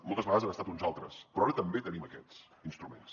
moltes vegades han estat uns altres però ara també tenim aquests instruments